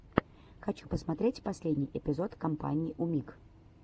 хочу посмотреть последний эпизод компании умиг